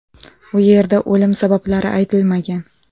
U yerda o‘lim sabablari aytilmagan.